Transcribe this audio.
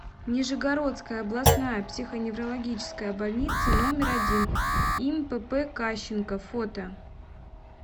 нижегородская областная психоневрологическая больница номер один им пп кащенко фото